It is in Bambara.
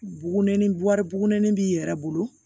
Bugunennin wari burunin b'i yɛrɛ bolo